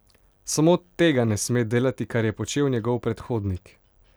Samo tega ne sme delati, kar je počel njegov predhodnik.